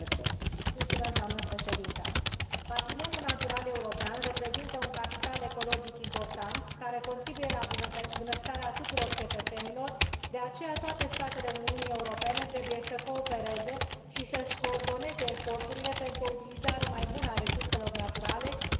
Patrimoniul natural european reprezintă un capital ecologic important care contribuie la bunăstarea tuturor cetățenilor, de aceea toate statele Uniunii Europene trebuie să coopereze și să și coordoneze eforturile pentru o utilizare mai bună a resurselor naturale și limitarea degradării biodiversității.